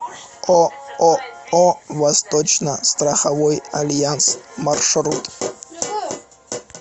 ооо восточно страховой альянс маршрут